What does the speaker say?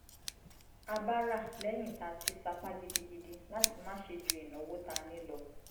a bá rà lẹ́yìn tá a ti sapá gidigidi láti má ṣe ju ìnáwó tá a ní lọ